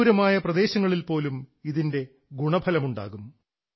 വിദൂരമായ പ്രദേശങ്ങളിൽ പോലും ഇതിൻറെ ഗുണഫലം ഉണ്ടാകും